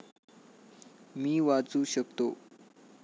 मी वाचू शकतो.